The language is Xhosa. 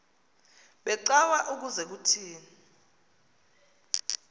becawa ukuze kuthini